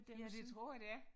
Ja det tror jeg det er